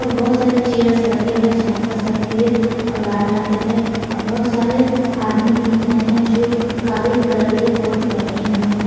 और बहुत सारे चेयर्स लगे हैं जहां पर सफेद और लाल रंग के हैं और बहुत सारे आदमी दिख रहे हैं जो काले कलर के कोट पहने हुए हैं।